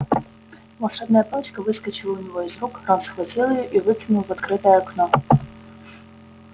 волшебная палочка выскочила у него из рук рон схватил её и выкинул в открытое окно